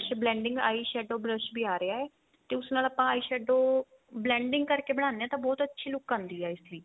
blending eye shadow brush ਵੀ ਆ ਰਿਹਾ ਤੇ ਉਸ ਨਾਲ ਆਪਾਂ eyeshadow blending ਕਰਕੇ ਬਣਾਂਦੇ ਆ ਤਾਂ ਬਹੁਤ ਅੱਛੀ look ਆਂਦੀ ਹੈ ਇਸ ਦੀ